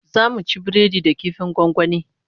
Zamu ci biredi da kifin gwangwani